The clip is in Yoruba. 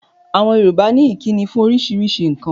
Àwọn Yorùbá ní ìkíni fún oríṣiríṣi nǹkan.